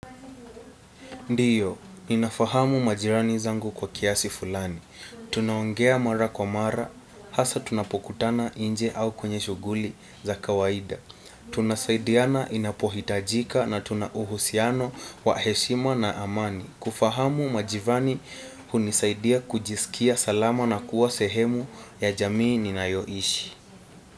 Ndiyo, inafahamu majirani zangu kwa kiasi fulani. Tunaongea mara kwa mara, hasa tunapokutana inje au kwenye shuguli za kawaida. Tunasaidiana inapohitajika na tuna uhusiano wa heshima na amani. Kufahamu majirani hunisaidia kujisikia salama na kuwa sehemu ya jamii ninayoishi.